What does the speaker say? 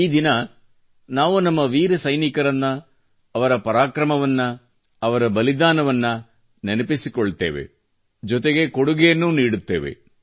ಈ ದಿನ ನಾವು ನಮ್ಮ ವೀರ ಸೈನಿಕರನ್ನು ಅವರ ಪರಾಕ್ರಮವನ್ನು ಅವರ ಬಲಿದಾನವನ್ನು ನೆನಪಿಸಿಕೊಳ್ಳುತ್ತೇವೆ ಜೊತೆಗೆ ಕೊಡುಗೆಯನ್ನೂ ನೀಡುತ್ತೇವೆ